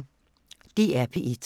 DR P1